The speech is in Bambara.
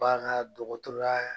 Bagandɔgɔtɔrɔya